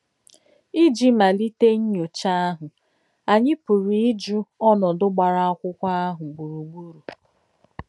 Ìjì m̀álítè nnyọ̀chá àhụ̀, ányị̀ pùrù íjù ònòdù gbàrà ákwụ́kwọ̀ àhụ̀ gburùgbèrù.